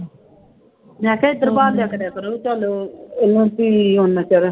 ਮੈਂ ਕਿਹਾ ਇੱਧਰ ਬਹਾਲਿਆ ਕਰਿਆ ਕਰੋ ਚੱਲ ਇਹਨੂੰ ਵੀ ਓਨਾ ਚਿਰ